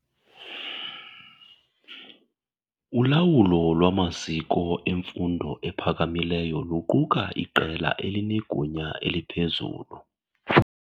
Ulawulo lwamaziko emfundo ephakamileyo luquka iqela elinegunya eliphezulu.